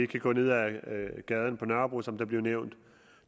kan gå ned ad gaden på nørrebro som der blev nævnt at